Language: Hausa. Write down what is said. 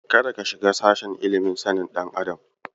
Kada ka shiga sashen ilimin sanin ɗan adam.